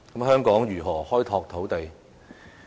香港應如何開拓土呢地？